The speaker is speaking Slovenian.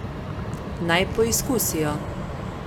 Naj poizkusijo.